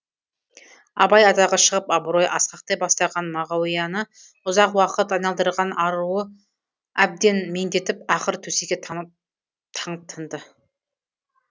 абай атағы шығып абыройы асқақтай бастаған мағауияны ұзақ уақыт айналдырған ауруы әбден меңдетіп ақыры төсекке таңып тынды